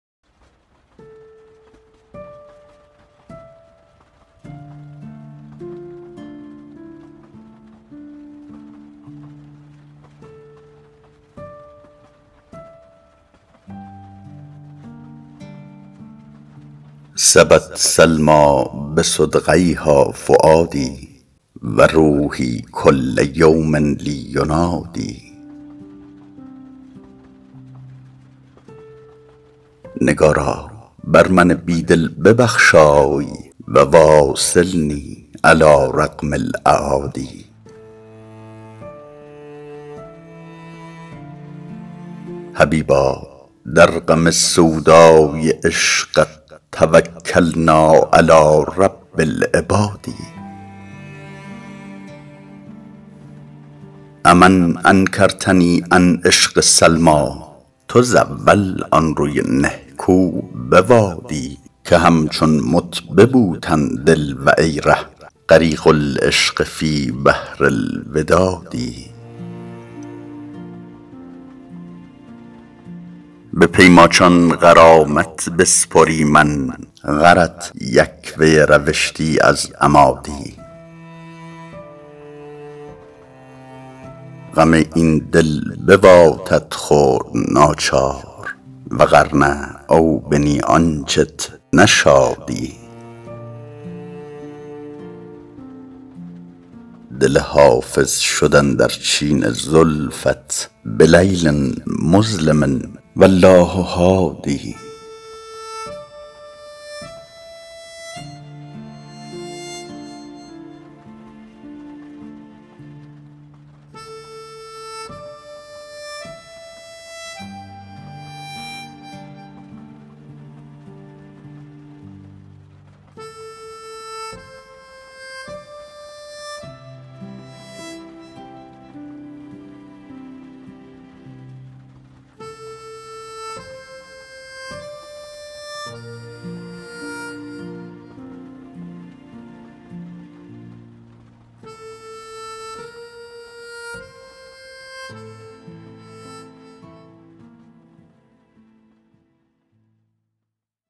سبت سلمیٰ بصدغیها فؤادي و روحي کل یوم لي ینادی نگارا بر من بی دل ببخشای و واصلني علی رغم الأعادي حبیبا در غم سودای عشقت توکلنا علی رب العباد أ من انکرتني عن عشق سلمیٰ تزاول آن روی نهکو بوادی که همچون مت به بوتن دل و ای ره غریق العشق فی بحر الوداد به پی ماچان غرامت بسپریمن غرت یک وی روشتی از اما دی غم این دل بواتت خورد ناچار و غر نه او بنی آنچت نشادی دل حافظ شد اندر چین زلفت بلیل مظلم و الله هادی